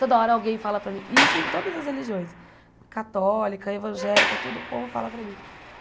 Toda hora alguém fala para mim, e isso em todas as religiões, católica, evangélica, tudo, o povo fala para mim.